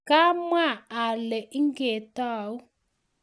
kwa mwa ale nge tau